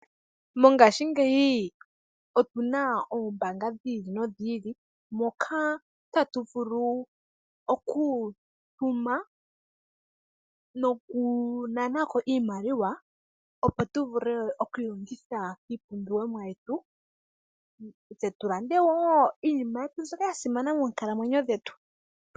Mongaashingeyi opuna Oombaanga dhi ili nodhi ili moka tatu vulu okutuma noku nanako iimaliwa opo tu vule okwiiyuvitha iipumbiwomwa yetu tse tu lande wo iinima yetu mbyoka ya simana moonkalamwenyo dhetu.